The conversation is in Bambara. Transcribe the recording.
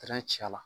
ci a la